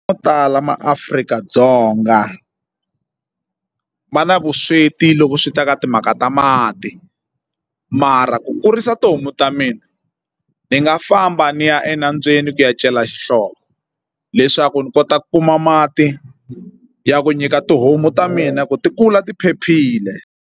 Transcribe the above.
Mo tala maAfrika-Dzonga va na vusweti loko swi ta ka timhaka ta mati mara ku kurisa tihomu ta mina ni nga famba ni ya enambyeni ku ya cela xihlovo leswaku ni kota ku kuma mati ya ku nyika tihomu ta mina ku ti kula ti phephile.